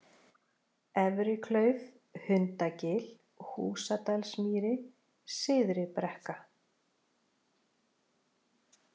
Efriklauf, Hundagil, Húsadalsmýri, Syðri-Brekka